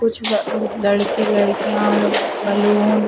कुछ बा अ लड़के -लड़किया और बलून --